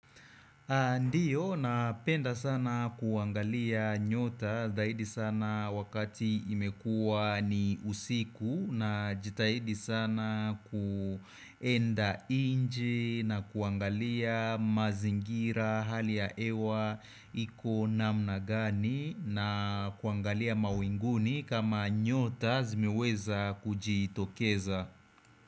Ndiyo, napenda sana kuangalia nyota zaidi sana wakati imekua ni usiku najitahidi sana kuenda nje na kuangalia mazingira hali ya hewa iko namna gani na kuangalia mawinguni kama nyota zimeweza kujiitokeza.